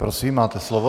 Prosím, máte slovo.